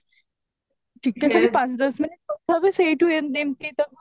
ଟିକେ ଖାଲି ପାଞ୍ଚ ଦଶ minute କଥା ହେବେ ସେଇଠୁ ଏମତି ଏମତି ତ